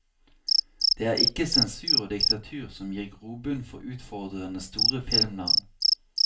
Det er ikke sensur og diktatur som gir grobunn for utfordrende store filmnavn.